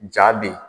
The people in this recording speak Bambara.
Ja bɛ yen